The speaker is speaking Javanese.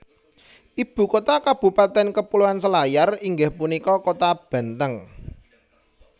Ibu kota kabupatèn Kepulauan Selayar inggih punika Kota Benteng